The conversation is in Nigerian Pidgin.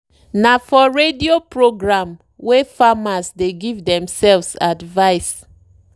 na for radio programwey farmers dey give themselves advice.